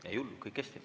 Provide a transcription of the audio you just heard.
Ei ole hullu, kõik hästi.